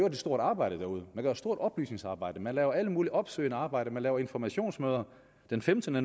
et stort arbejde derude man gør et stort oplysningsarbejde man laver alt muligt opsøgende arbejde man laver informationsmøder den femtende